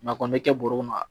a kɔni bɛ kɛ bɔrɛ kɔnɔ